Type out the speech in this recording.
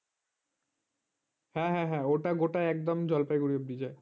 হ্যাঁ হ্যাঁ ওটা গোটা জলপাইগুড়ি অব্দি যায়